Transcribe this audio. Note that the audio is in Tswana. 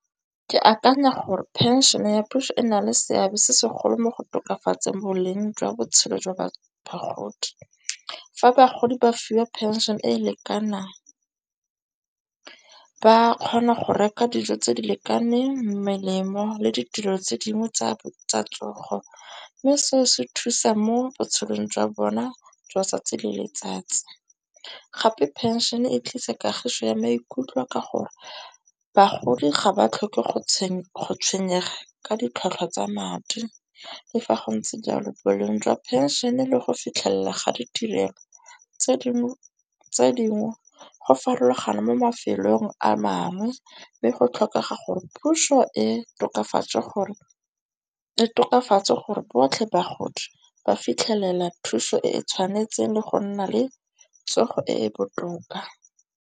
Ke akanya gore phenšene ya puso e na le seabe se segolo mo go tokafatseng boleng jwa botshelo jwa ba bagodi. Fa bagodi ba fiwa pension-e e lekanang ba kgona go reka dijo tse di lekaneng, melemo le ditiro tse dingwe tsa tsogo. Mme seo se thusa mo botshelong jwa bona jwa tsatsi le letsatsi, gape pension e tlisa kagiso ya maikutlo a ka gore bagodi ga ba tlhoke go tshwenyega ka ditlhwatlhwa tsa madi. Le fa go ntse jalo, boleng jwa phensene le go fitlhella ga ditirelo tse dingwe go farologana mo mafelong a mangwe. Mme go tlhokega gore puso e tokafatse gore botlhe bagodi ba fitlhelela thuso e e tshwanetseng le go nna le tsogo e e botoka.